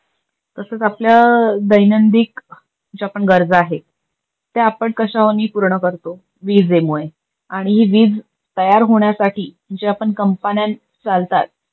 तसच आपल्या दैनदिक ज्या पण गरजा आहे, त्या आपण कशानी पूर्ण करतो? विजेमुळे. आणि ही विज तयार होण्यासाठी ज्या पण कंपन्या चालतात